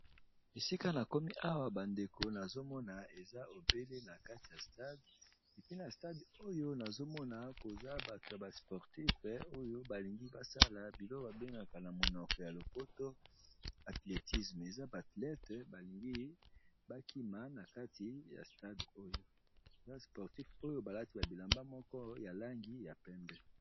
Esika na komi awa bandeko nazomona eza obele na kati ya stade epena stade oyo nazomona koza bato ya ba sportif oyo balingi basala bilo babengaka na monoko ya lopoto athletisme eza baathlete balingi bakima na kati yoya sportif oyo balati ba bilamba moko ya langi ya pembe.